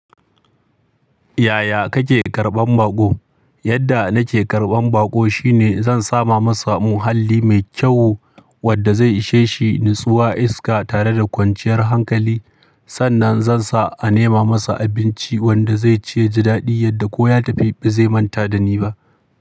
Yaya kake karɓan baƙo? Yadda nake karɓan baƙo shine zan sa ma masa muhalli mai kyau wadda zai ishe shi, nutsuwa, iska tare da kwanciyar hankali. Sannan zan sa a nema masa abinci wanda zai ci ya ji daɗi yadda ko ya tafi ba zai manta da ni ba.